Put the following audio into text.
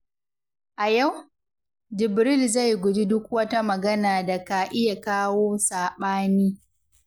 A yau, Jibril zai guji duk wata magana da ka iya kawo saɓani.